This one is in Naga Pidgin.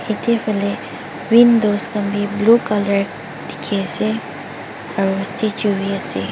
yadae fale windows khan bi blue colour diki asae aro statue bi asae.